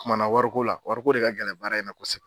O kumana wari la warikola, wariko de ka gɛlɛ baara in na.